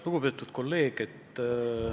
Lugupeetud kolleeg!